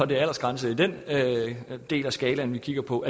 det er aldersgrænse i den del af skalaen vi kigger på